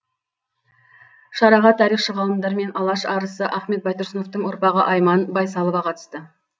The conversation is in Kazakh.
шараға тарихшы ғалымдар мен алаш арысы ахмет байтұрсыновтың ұрпағы айман байсалова қатысты